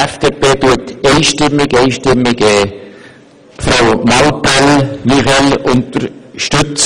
Die FDP unterstützt einstimmig Frau Muriel Mallepell.